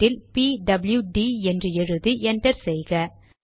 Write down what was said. ப்ராம்ட்டில் P W D என்று எழுதி enter செய்க